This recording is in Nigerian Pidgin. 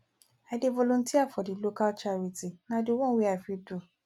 i dey volunteer for di local charity na di one wey i fit do